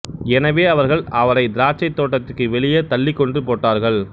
எனவே அவர்கள் அவரைத் திராட்சைத் தோட்டத்திற்கு வெளியே தள்ளிக் கொன்று போட்டார்கள்